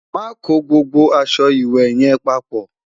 má kò gbogbo aṣọ ìwé yen paapo